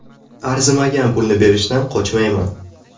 Arzimagan pulni berishdan qochmayman.